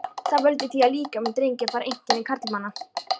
Það veldur því að líkami drengja fær einkenni karlmanna.